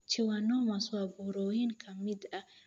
Schwannomas waa burooyin ka mid ah unugyada daboolaya neerfaha (galka neerfaha).